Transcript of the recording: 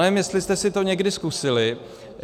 Nevím, jestli jste si to někdy zkusili.